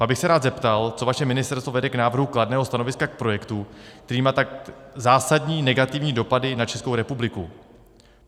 Pak bych se rád zeptal, co vaše ministerstvo vede k návrhu kladného stanoviska k projektu, který má tak zásadní negativní dopady na Českou republiku.